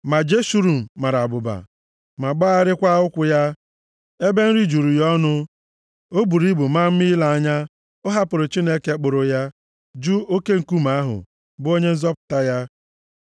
Ma Jeshurun mara abụba, ma gbagharịa ụkwụ ya, ebe nri juru ya ọnụ, o buru ibu, maa mma ile anya. Ọ hapụrụ Chineke kpụrụ ya, jụ oke nkume ahụ, bụ Onye Nzọpụta ya.